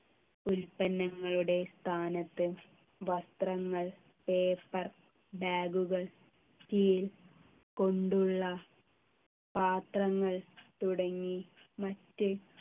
ഉൽപ്പന്നങ്ങളുടെ സ്ഥാനത്ത് വസ്ത്രങ്ങൾ paper bag കൾ steel കൊണ്ടുള്ള പാത്രങ്ങൾ തുടങ്ങി മറ്റ്